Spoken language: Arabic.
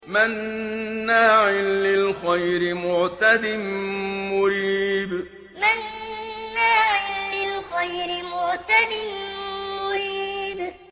مَّنَّاعٍ لِّلْخَيْرِ مُعْتَدٍ مُّرِيبٍ مَّنَّاعٍ لِّلْخَيْرِ مُعْتَدٍ مُّرِيبٍ